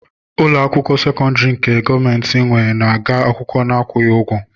Ụlọakwụkwọ sekondari nke gọọmenti nwé na -ege akwụkwọ n'akwughị ụgwọ.